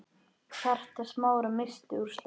Hjarta Smára missti úr slag.